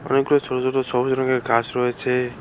অনেকগুলি ছোট ছোট সবুজ রঙের ঘাস রয়েছে।